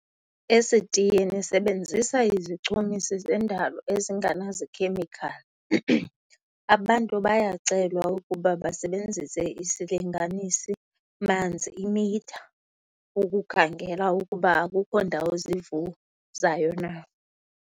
Esitiyeni sebenzisa izichumisi zendalo ezinganazikhemikhali. Abantu bayacelwa ukuba basebenzise isilinganisi-manzi, i-meter, ukukhangela ukuba akukho ndawo zivuzayo na.